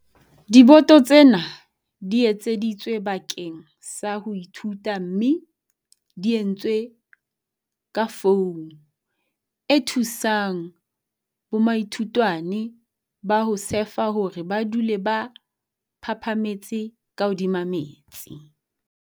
Diboto tsena di etseditswe bakeng sa ho ithuta mme di entswe ka foumu e thusang bomaithutwane ba ho sefa hore ba dule ba phaphametse ka hodima metsi.